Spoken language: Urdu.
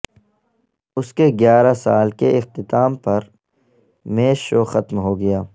اس کے گیارہ سال کے اختتام پر میش شو ختم ہوگیا